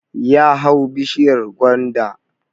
Ya hau bishiyar gwanda